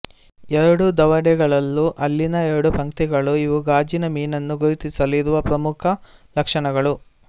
ಎರಡು ದವಡೆಗಳಲ್ಲೂ ಹಲ್ಲಿನ ಎರಡು ಪಂಕ್ತಿಗಳು ಇವು ಗಾಜಿನ ಮೀನನ್ನು ಗುರುತಿಸಲು ಇರುವ ಪ್ರಮುಖ ಲಕ್ಷಣಗಳು